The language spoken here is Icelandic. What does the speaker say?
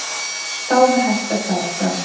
Þá var hætt að færa frá.